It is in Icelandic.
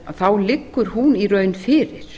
þá liggur hún í raun fyrir